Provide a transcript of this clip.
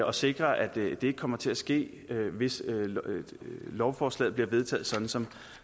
og sikre at det ikke kommer til at ske hvis lovforslaget bliver vedtaget sådan som